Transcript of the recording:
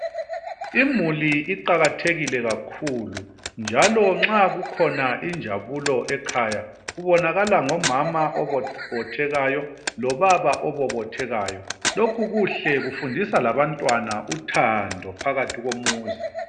Imuli iqakathekile kakhulu njalo nxa kukhona injabulo ekhaya kubonakala ngomama obobothekayo lobaba obobothekayo. Lokhu kuhle kufundisa labantwana uthando phakathi komuzi.